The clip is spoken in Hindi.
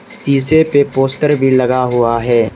शीशे पे पोस्टर भी लगा हुआ है।